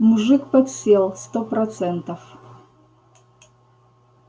мужик подсел сто процентов